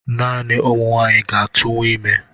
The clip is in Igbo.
Naani ụmụ nwanyị ga-atụnwu ime